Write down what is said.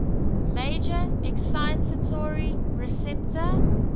major excitatory receptor